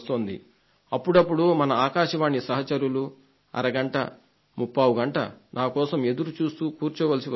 అప్పుడప్పుడు మన ఆకాశవాణి సహచరులు అరగంట ముప్పావుగంట నా కోసం ఎదురుచూస్తూ కూర్చోవలసి వస్తుంది